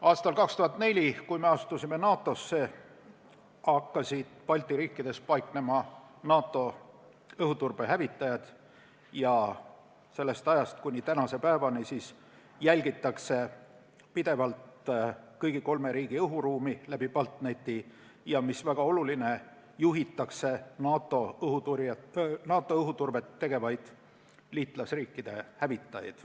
Aastal 2004, kui me NATO-sse astusime, hakkasid Balti riikides paiknema NATO õhuturbehävitajad ning sellest ajast kuni tänase päevani jälgitakse kõigi kolme riigi õhuruumi läbi BALTNET-i ja, mis väga oluline, juhitakse NATO õhuturvet tegevaid liitlasriikide hävitajaid.